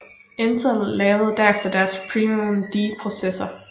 Intel lavede derefter deres Pentium D processor